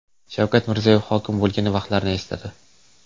Shavkat Mirziyoyev hokim bo‘lgan vaqtlarini esladi.